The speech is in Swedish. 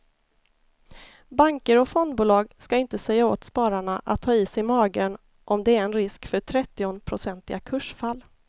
Banker och fondbolag ska inte säga åt spararna att ha is i magen om det är en risk för trettionprocentiga kursfall.